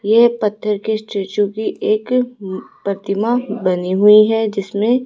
ये पत्थर के स्टैचू की एक प्रतिमा बनी हुई है जिसमें--